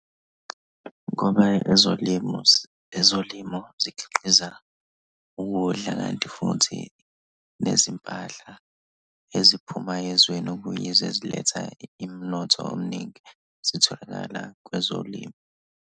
Ngoba ezolimo ezolimo zikhiqiza ukudla, ngenxa yokuthi nezimpahla eziphumayo ezweni okunye eziletha umnotho omningi, zitholakala kwezolimo.